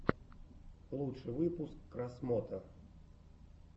лучший выпуск красмото